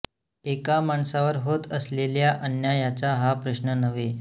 एका माणसावर होत असलेल्या अन्यायाचा हा प्रश्न नव्हे